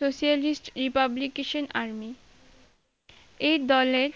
socialist-republication army এই দলের